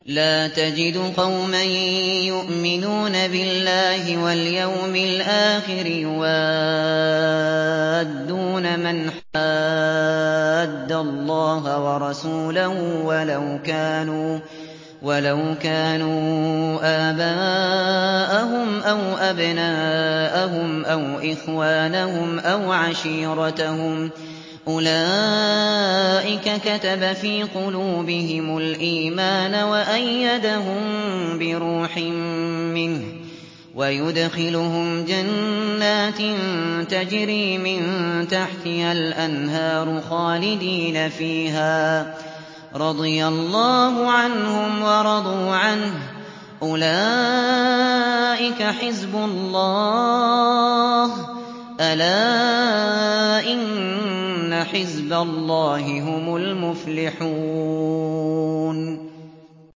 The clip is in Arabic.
لَّا تَجِدُ قَوْمًا يُؤْمِنُونَ بِاللَّهِ وَالْيَوْمِ الْآخِرِ يُوَادُّونَ مَنْ حَادَّ اللَّهَ وَرَسُولَهُ وَلَوْ كَانُوا آبَاءَهُمْ أَوْ أَبْنَاءَهُمْ أَوْ إِخْوَانَهُمْ أَوْ عَشِيرَتَهُمْ ۚ أُولَٰئِكَ كَتَبَ فِي قُلُوبِهِمُ الْإِيمَانَ وَأَيَّدَهُم بِرُوحٍ مِّنْهُ ۖ وَيُدْخِلُهُمْ جَنَّاتٍ تَجْرِي مِن تَحْتِهَا الْأَنْهَارُ خَالِدِينَ فِيهَا ۚ رَضِيَ اللَّهُ عَنْهُمْ وَرَضُوا عَنْهُ ۚ أُولَٰئِكَ حِزْبُ اللَّهِ ۚ أَلَا إِنَّ حِزْبَ اللَّهِ هُمُ الْمُفْلِحُونَ